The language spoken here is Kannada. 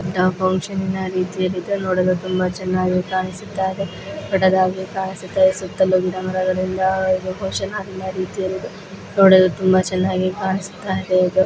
ಫಂಕ್ಷನ್ ರೀತಿಯಲ್ಲಿ ಇದೆ. ನೋಡಲು ತುಂಬಾ ಚೆನ್ನಾಗಿ ಕಾಣಿಸುತ್ತ ಇದೆ. ದೊಡ್ಡದಾಗಿ ಕಾಣಿಸುತ್ತ ಇದೆ ಸುತ್ತಲು ಗಿಡ ಮರಗಳಿಂದ ರೀತಿಯಲ್ಲಿ ಇದೆ ನೋಡಲು ತುಂಬಾ ಚೆನ್ನಾಗಿ ಕಾಣಿಸುತ್ತ ಇದೆ.